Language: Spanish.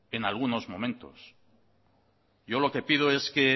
en algunos momentos yo lo que pido es que